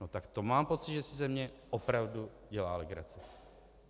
No tak to mám pocit, že si ze mě opravdu dělá legraci.